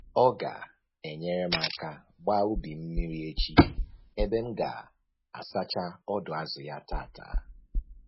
Ọ ga-enyere m aka gbaa ubi m mmiri echi ebe m ga-asacha ọdụ azụ ya tata